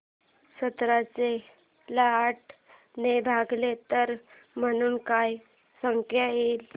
सतराशे ला आठ ने भागल्यास उत्तर म्हणून काय संख्या येईल